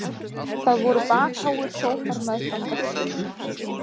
Það voru bakháir sófar meðfram veggjunum.